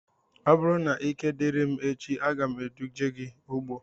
Ọ bụrụ na ike diri m echi, aga m eduje gị ugbo